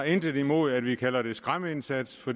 intet har imod at vi kalder det skræmmeindsats for